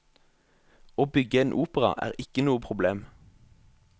Å bygge en opera er ikke noe problem.